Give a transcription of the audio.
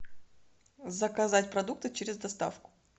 заказать продукты через доставку